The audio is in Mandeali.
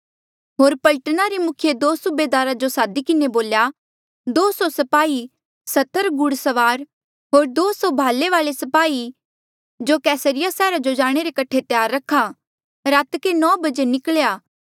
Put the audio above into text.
होर पलटना रे मुखिये दो सूबेदारा जो सादी किन्हें बोल्या दो सौ स्पाही सत्तर घुड़सवार होर दो सौ भाले वाले स्पाही जो कैसरिया सैहरा जो जाणे रे कठे त्यार रखा रातके नो बजे निकल्या